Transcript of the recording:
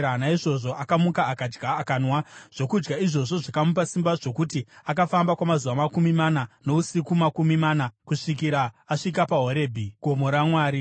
Naizvozvo akamuka akadya, akanwa. Zvokudya izvozvo zvakamupa simba zvokuti akafamba kwamazuva makumi mana nousiku makumi mana kusvikira asvika paHorebhi, gomo raMwari.